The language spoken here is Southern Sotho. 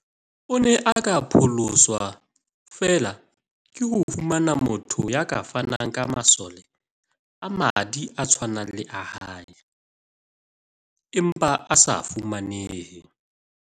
O ne a ka pholoswa feela ke ho fumana motho ya ka fanang ka masole a madi a tshwanang le a hae, empa a se fumanehe.